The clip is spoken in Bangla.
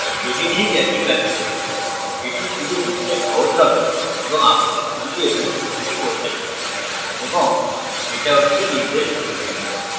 এটি this একই lot করবে এটি শুধু বুঝতে সহজ হবে এবং আপনি সবকিছু এখানে ঘোষিত করতে পারেন এবং এটা ওটিকে নির্দেশ করবে